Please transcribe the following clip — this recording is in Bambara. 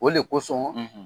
O de kosɔn, .